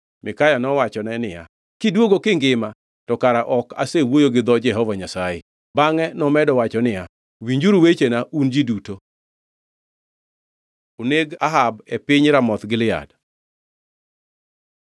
Mikaya nowachone niya, “Kidwogo kingima, to kara ok asewuoyo gi dho Jehova Nyasaye.” Bangʼe nomedo wacho niya, “Winjuru wechena, un ji duto!” Oneg Ahab e piny Ramoth Gilead